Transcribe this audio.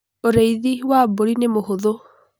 ũrĩithi wa mbũri nĩ mũhũthũ